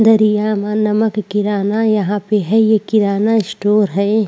दरिया में नमक गिराना यहाँ पे है ये किराना स्टोर है।